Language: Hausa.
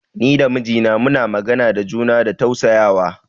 Ni da mijina muna magana da juna da tausayawa.